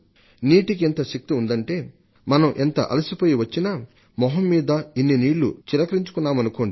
నీటికి ఎంత శక్తి ఉందంటే మనం ఎంత అలసిపోయి వచ్చినా మొహం మీద ఇన్ని నీళ్లు చిలకరించుకున్నామనుకోండి